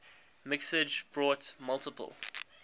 mixage brought multiple